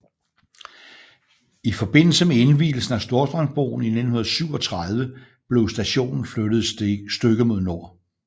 I forbindelse med indvielsen af Storstrømsbroen i 1937 blev stationen flyttet et stykke mod syd